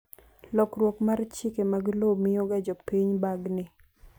lokruok mar chike mag lowo miyo ga jo piny bagni